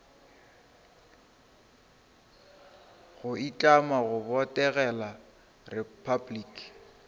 go itlama go botegela repabliki